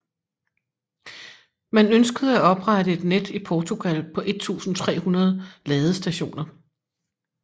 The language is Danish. Man ønskede at oprette et net i Portugal på 1300 ladestationer